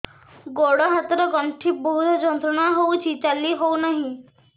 ଗୋଡ଼ ହାତ ର ଗଣ୍ଠି ବହୁତ ଯନ୍ତ୍ରଣା ହଉଛି ଚାଲି ହଉନାହିଁ